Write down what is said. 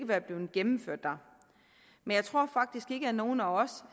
være blevet gennemført men jeg tror faktisk ikke at nogen af os